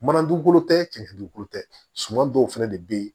Mana dugukolo tɛ cɛn dukolo tɛ suman dɔw fɛnɛ de bɛ yen